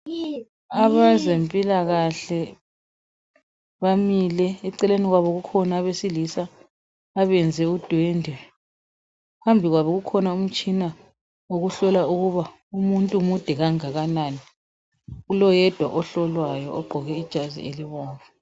Abezempilakahle bamile, eceleni kwabo kukhona abesilisa abenze udwendwe .Phambi kwabo kukhona umtshina okuhlola ukuba umuntu mude kangakanani. Kuloyedwa ohlolwayo ogqoke ijazi elibomvu.